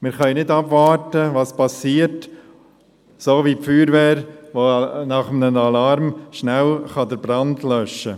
Wir können nicht abwarten und zusehen, was passiert, um, wie die Feuerwehr, nach einem Alarm den Brand rasch zu löschen.